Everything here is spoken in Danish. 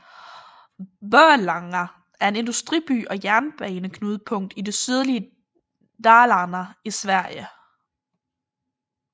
Borlänge er en industriby og jernbaneknudepunkt i det sydlige Dalarna i Sverige